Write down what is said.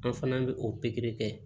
An fana bɛ o pikiri kɛ